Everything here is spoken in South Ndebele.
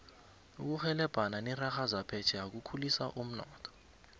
ukurhebelana nerarha zaphetjheya kukhulisa umnotho